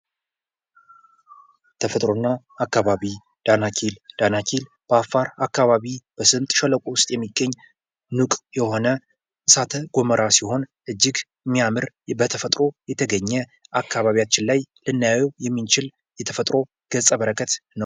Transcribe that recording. ተፈጥሮና አካባቢ ፦ ዳናኪል ፦ ዳናኪል በአፋር አካባቢ በስምጥ ሸለቆ ውስጥ የሚገኝ ሙቅ የሆነ እሳተ ጎሞራ ሲሆን እጅግ የሚያምር በተፈጥሮ የተገኘ አካባቢያችን ላይ ልናየው የምንችል የተፈጥሮ ገጸ በረከት ነው ።